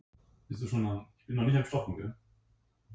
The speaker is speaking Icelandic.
fílar eru stórir og gnæfa því hátt yfir jörðina